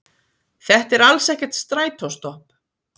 Þetta er alls ekkert strætóstopp